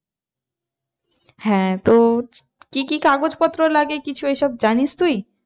হ্যাঁ তো কি কি কাগজ পত্র লাগে কিছু এই সব জানিস তুই?